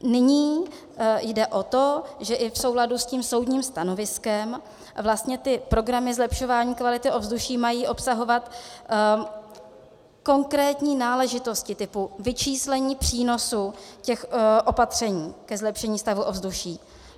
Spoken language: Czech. Nyní jde o to, že i v souladu s tím soudním stanoviskem vlastně ty programy zlepšování kvality ovzduší mají obsahovat konkrétní náležitosti typu vyčíslení přínosů těch opatření ke zlepšení stavu ovzduší.